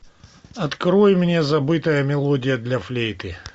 открой мне забытая мелодия для флейты